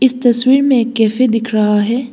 इस तस्वीर में एक कैफे दिख रहा है।